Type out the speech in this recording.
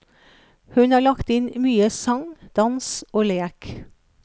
Hun har lagt inn mye sang, dans og lek.